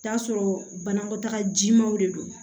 Taa sɔrɔ banakɔtaga jimanw de don